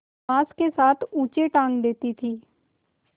बाँस के साथ ऊँचे टाँग देती थी